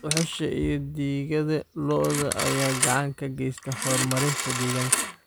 Dhuxusha iyo digada lo'da ayaa gacan ka geysta horumarinta deegaanka.